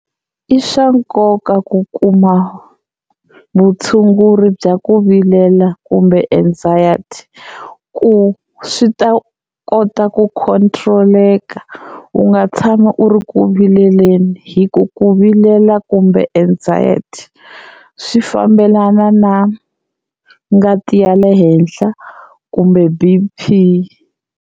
I swa nkoka ku kuma vutshunguri bya ku vilela kumbe anxiety ku swi ta kota ku control-eka u nga tshama u ri ku vileleni hi ku ku vilela kumbe anxiety swi fambelana na ngati ya le henhla kumbe B_P.